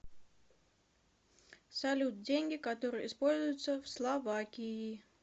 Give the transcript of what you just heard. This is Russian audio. салют деньги которые используются в словакии